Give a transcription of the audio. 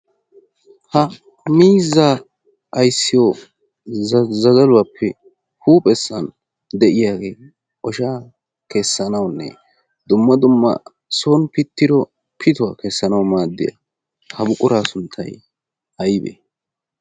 ha mizza ayssiyo zazaluwaappe huuphessan de'iyaagee oshaa keessanaunne dumma dumma son pittiro pituwaa keessanau maaddiyaa ha buquraa sunttai ayibee?